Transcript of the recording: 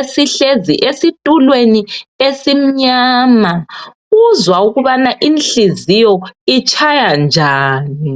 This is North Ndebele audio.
esihlezi esitulweni esimnyana, uzwa ukuba inhliziyo itshaya njani.